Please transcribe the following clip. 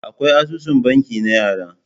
Akwai asusun banki na yara.